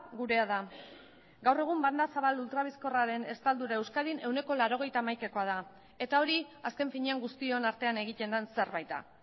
gurea da gaur egun banda zabal ultra bizkorraren estaldura euskadin ehuneko laurogeita hamaikakoa da eta hori azken finean guztion artean egiten den zerbait da